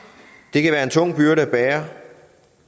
det kan være en tung byrde at bære